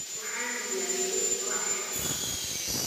Waxaan diyaariyey quraac shaah ah.